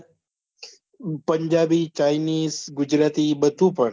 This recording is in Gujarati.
પંજાબી, ચાઈનીસ, ગુજરાતી બધું પણ